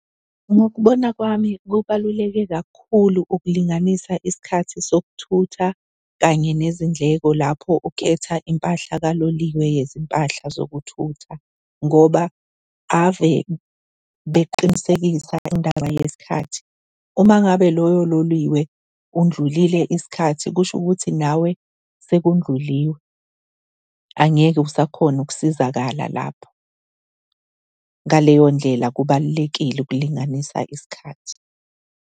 Ngokubona kwami kubaluleke kakhulu ukulinganisa isikhathi sokuthutha kanye nezindleko lapho ukhetha impahla kaloliwe yezimpahla zokuthutha ngoba ave beqinisekisa indaba yesikhathi. Uma ngabe loyo loliwe kundlulile isikhathi, kusho ukuthi nawe sekundluliwe, angeke usakhona ukusizakala lapho. Ngaleyo ndlela kubalulekile ukulinganisa isikhathi.